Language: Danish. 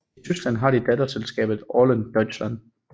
I Tyskland har de datterselskabet Orlen Deutschland